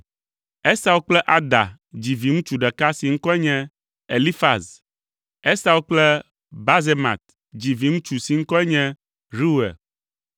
Esau kple Ada dzi viŋutsu ɖeka si ŋkɔe nye Elifaz. Esau kple Basemat dzi viŋutsu si ŋkɔe nye Reuel.